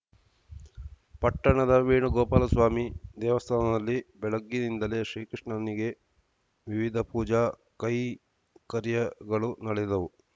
ಪಟ್ಟಣದ ವೇಣುಗೋಪಾಲಸ್ವಾಮಿ ದೇವಸ್ಥಾದಲ್ಲಿ ಬೆಳಗ್ಗಿನಿಂದಲೇ ಶ್ರೀ ಕೃಷ್ಣನಿಗೆ ವಿವಿಧ ಪೂಜಾ ಕೈಂಕರ್ಯಗಳು ನಡೆದವು